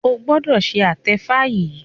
o gbọdọ ṣe atefa yí!